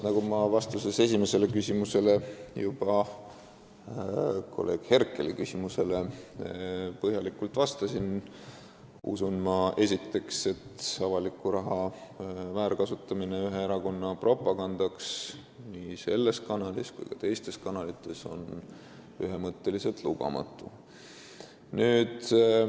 Nagu ma esimesele küsimusele, kolleeg Herkelile juba põhjalikult vastasin, ma esiteks tõepoolest usun, et avaliku raha väärkasutamine ühe erakonna propagandaks nii selles kanalis kui ka teistes kanalites on ühemõtteliselt lubamatu.